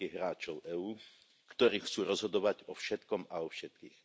veľkých hráčov EÚ, ktorí chcú rozhodovať o všetkom a o všetkých.